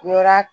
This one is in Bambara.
Yɔrɔ